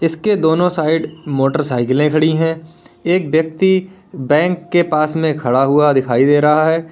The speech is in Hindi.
इसके दोनों साइड मोटरसाइकिले खड़ी है एक व्यक्ति बैंक के पास में खड़ा हुआ दिखाई दे रहा है।